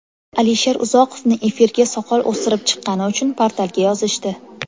Alisher Uzoqovni efirga soqol o‘stirib chiqqani uchun portalga yozishdi.